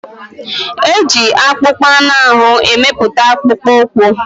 E ji akpụkpọanụ emepụta akpụkpọ ụkwụ.